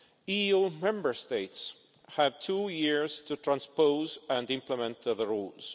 EU Member States have two years to transpose and implement the rules.